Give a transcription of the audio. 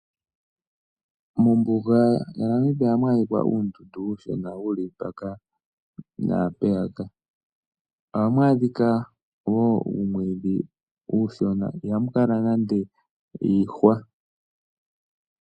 Mombuga yaNamibia ohamu adhika uundundu uushona wuli mpaka naampeyaka. Ohamu adhika wo uumwiidhi uushona, ihamu kala nande iihwa.